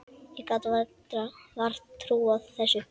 Ég gat vart trúað þessu.